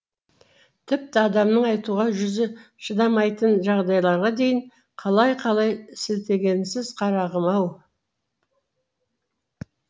тіпті адамның айтуға жүзі шыдамайтын жағдайларға дейін қалай қалай сілтегенсіз қарағым ау